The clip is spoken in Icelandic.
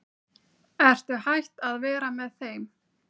Ertu hætt að vera með þeim?